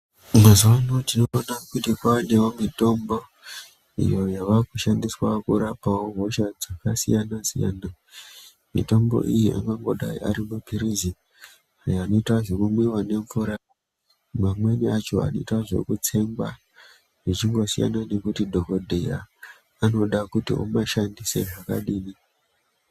Mazuwano tinoona kuti kwane mitombo iyo yavakushandiswa kurapawo hosha dzakasiyana siyana. Mitombo iyi angangodai ari maphirizi anoita zvekumwiwa nemvura mamweni acho anoita zvekutsengwa zvichingosiyana nekuti dhokodheya anoda kuti umashandise zvakadini.